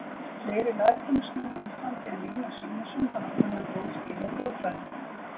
Fleiri lærdómsmenn á Íslandi en Jónas Jónasson hafa kunnað góð skil á þjóðfræði.